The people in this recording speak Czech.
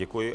Děkuji.